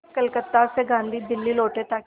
कलकत्ता से गांधी दिल्ली लौटे ताकि